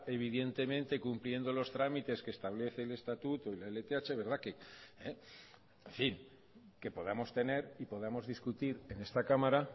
evidentemente cumpliendo los trámites que establece el estatuto y la lth en fin que podamos tener y podamos discutir en esta cámara